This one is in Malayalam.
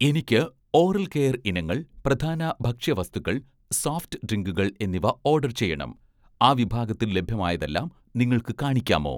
എനിക്ക് ഓറൽ കെയർ ഇനങ്ങൾ, പ്രധാന ഭക്ഷ്യവസ്തുക്കൾ, സോഫ്റ്റ് ഡ്രിങ്കുകൾ എന്നിവ ഓഡർ ചെയ്യണം, ആ വിഭാഗത്തിൽ ലഭ്യമായതെല്ലാം നിങ്ങൾക്ക് കാണിക്കാമോ?